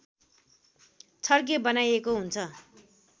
छड्के बनाइएको हुन्छ